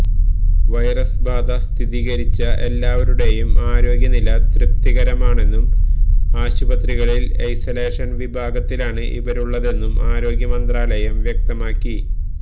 virus ബാധ സ്ഥിരീകരിച്ച എല്ലാവരുടെയും ആരോഗ്യ നില തൃപ്തികരമാണെന്നും ആശുപത്രികളില് ഐസലേഷന് വിഭാഗത്തിലാണ് ഇവരുള്ളതെന്നും ആരോഗ്യ മന്ത്രാലയം വ്യക്തമാക്കി